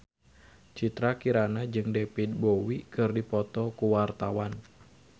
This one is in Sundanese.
Citra Kirana jeung David Bowie keur dipoto ku wartawan